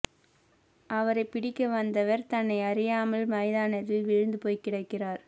அவர பிடிக்க வந்தவர் தன்னை அறியாமல் மைதானத்தில் விழுந்து போய்க் கிடக்கிறார்